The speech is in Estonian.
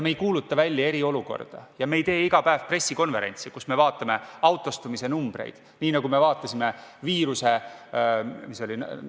Me ei kuuluta välja eriolukorda ja me ei tee iga päev pressikonverentsi, kus me vaatame autostumise numbreid, nii nagu me vaatasime viiruse – mis see oli?